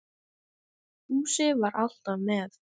Fúsi var alltaf með